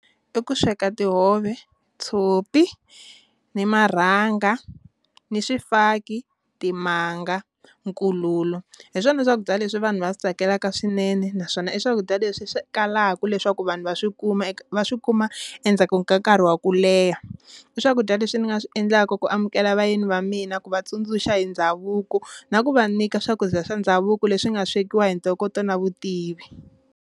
I ku sweka tihove, tshopi ni marhanga, ni swifaki, timanga, nkululo hi swona swakudya leswi vanhu va swi tsakelaka swinene naswona i swakudya leswi swi kalaka leswaku vanhu va swi kuma va swi kuma endzhaku ka nkarhi wa ku leha, i swakudya leswi ni nga swi endlaka ku amukela vayeni va mina ku va tsundzuxa hi ndhavuko na ku va nyika swakudya swa ndhavuko leswi nga swekiwa hi ntokoto na vutivi.